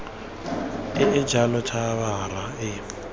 e e jalo khabara e